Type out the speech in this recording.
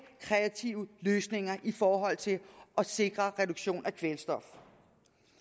kreative løsninger i forhold til at sikre reduktion af kvælstof